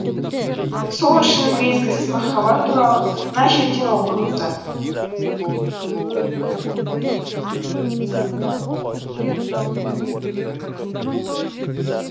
сол үшін мезгілсіз махаббат туралы мына жерден оқыңыздар